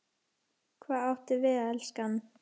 Hvað áttu við, elskan?